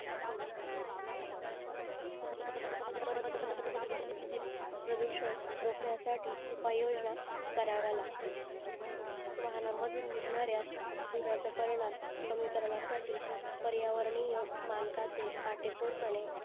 प्रभूषण रोकण्या साठी उपायोजना कराव्या लागतील वाहना मधून निघनारायय धुराचा परिणाम कमी करण्यासाठी पर्यावरणीय मनकाचे काटेकोर पने